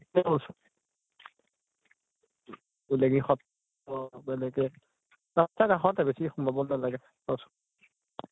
এনেকে ৰাষ্টাৰ কাষতে, বেছি সোমাব নালাগে ।